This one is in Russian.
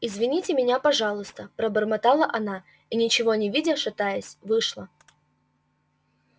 извините меня пожалуйста пробормотала она и ничего не видя шатаясь вышла